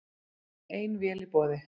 Ein vél í boði